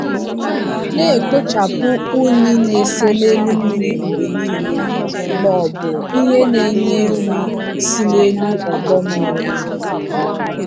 Na-ekpochapụ unyi na-ese n'elu mmiri mgbe niile ma ọ bụ ihe na-enye nri si n'elu ọdọ mmiri ahụ.